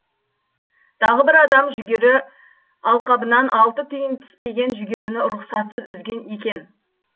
тағы бір адам жүгері алқабынан алты түйін піспеген жүгеріні рұқсатсыз үзген екен